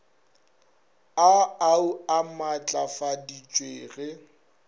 a au a matlafaditšwe ge